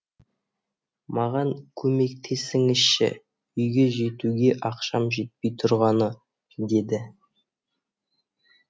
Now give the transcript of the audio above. маған көмектесіңізші үйге жетуге ақшам жетпей тұрғаны деді